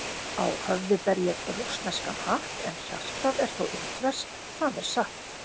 Á höfði ber ég rússneskan hatt, en hjartað er þó indverskt, það er satt.